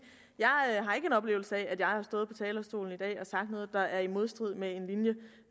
at oplevelse af at jeg har stået på talerstolen i dag og sagt noget der er i modstrid med en linje